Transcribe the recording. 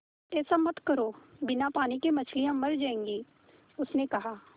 ऐसा मत करो बिना पानी के मछलियाँ मर जाएँगी उसने कहा